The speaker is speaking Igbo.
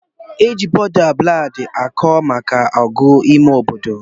Eji bọda ballad akọ maka ọgụ ime obodo.